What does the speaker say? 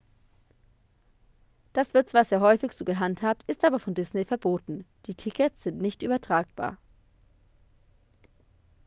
das wird zwar sehr häufig so gehandhabt ist aber von disney verboten die tickets sind nicht übertragbar